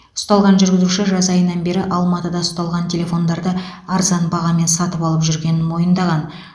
ұсталған жүргізуші жаз айынан бері алматыда ұсталған телефондарды арзан бағамен сатып алып жүргенін мойындаған